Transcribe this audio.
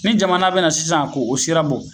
ƝNi jamana bɛna na sisan k'o sira bɔ